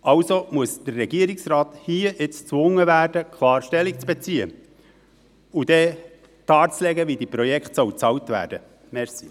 Also muss der Regierungsrat jetzt und hier gezwungen werden, klar Stellung zu beziehen und darzulegen, wie diese Projekte bezahlt werden sollen.